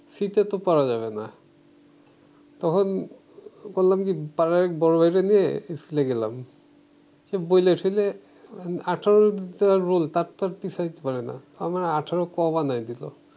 শীতে তো করা যাবে না তখন করলাম কি পাড়ার এক বড় ভাইরে নিয়ে school গেলাম সে বলে টলে আঠারো যার রোল তারতো আর পিছাইতে পারে না আমাকে আঠারো ক বানায় দিলো